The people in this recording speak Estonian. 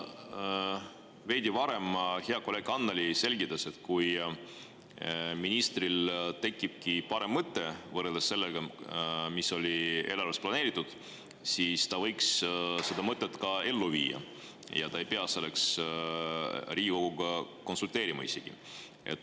Siin veidi varem hea kolleeg Annely selgitas, et kui ministril tekib parem mõte võrreldes sellega, mis oli eelarves planeeritud, siis ta võiks seda mõtet ka ellu viia ja ta ei pea selleks Riigikoguga isegi konsulteerima.